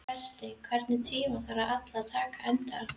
Berti, einhvern tímann þarf allt að taka enda.